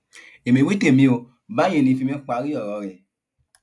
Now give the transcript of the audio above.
èmi wí tèmi o báyìí ní fímì parí ọrọ rẹ